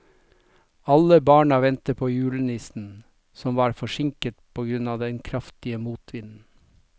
Alle barna ventet på julenissen, som var forsinket på grunn av den kraftige motvinden.